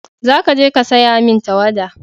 za ka je ka saya min tawada!